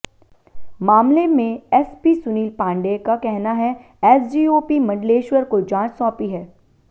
मामले में एसपी सुनील पांडेय का कहना है एसडीओपी मंडलेश्वर को जांच सौंपी है